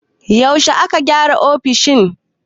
Yaushe aka gyara ofishin?